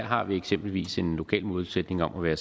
har vi eksempelvis en lokal målsætning om at være